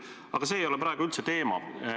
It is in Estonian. Aga see ei ole praegu üldse teema.